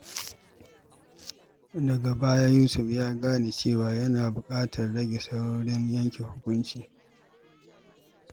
Daga baya, Yusuf ya gane cewa yana buƙatar rage saurin yanke hukunci.